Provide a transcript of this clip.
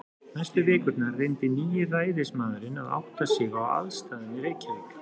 Næstu vikurnar reyndi nýi ræðismaðurinn að átta sig á aðstæðum í Reykjavík.